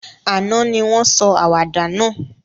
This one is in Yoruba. Àná ni won sọ àwàdà náà